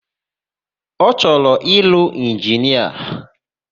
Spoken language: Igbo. Ọ chọrọ ịlụ inginia?